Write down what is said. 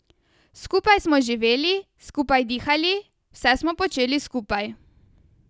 Skupaj smo živeli, skupaj dihali, vse smo počeli skupaj.